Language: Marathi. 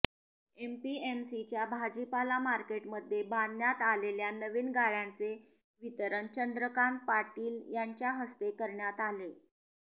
एपीएमसीच्या भाजीपाला मार्केटमध्ये बांधण्यात आलेल्या नवीन गाळ्यांचे वितरण चंद्रकांत पाटील यांच्या हस्ते करण्यात आले